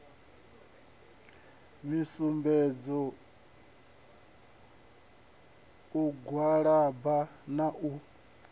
misumbedzo u gwalaba na u